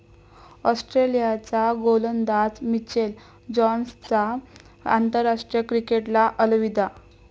ऑस्ट्रेलियाचा गोलंदाज मिचेल जॉन्सनचा आंतरराष्ट्रीय क्रिकेटला अलविदा